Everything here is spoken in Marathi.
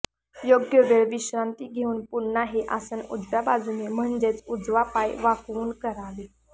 योग्य वेळ विश्रांती घेऊन पुन्हा हे आसन उजव्या बाजूने म्हणजेच उजवा पाय वाकवून करावे